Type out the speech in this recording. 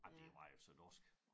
Ej det var jo så dorskt